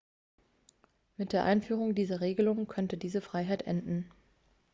mit der einführung dieser regelung könnte diese freiheit enden